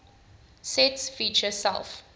sets feature self